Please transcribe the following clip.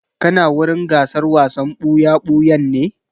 Kana wurin gasar wasan ɓuya-ɓuyan ne?